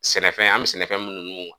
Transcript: Sɛnɛfɛn an mɛ sɛnɛfɛn munnu nun